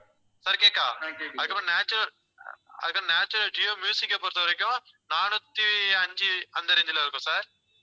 sir கேட்குதா அதுக்கப்புறம் national அதுக்கப்புறம் நேஷனல் ஜியோ மியூசிக்க பொறுத்தவரைக்கும் நானூத்தி அஞ்சு அந்த range ல இருக்கும் sir